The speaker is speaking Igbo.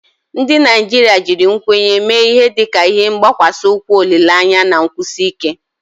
Ndị Naijiria jiri nkwenye mee ihe dịka ihe gbakwasi ukwu olile anya na nkwụsi ike.